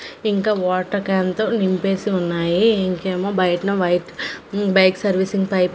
ఇంకా water can తో నింపేసి ఉన్నాయి ఇంకేమో బయటన వైట్ బైక్ సర్వీసింగ్ పైప్ --